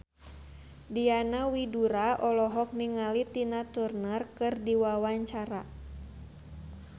Diana Widoera olohok ningali Tina Turner keur diwawancara